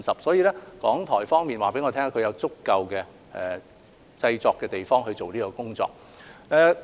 所以，港台方面告訴我，他們有足夠的製作地方進行相關工作。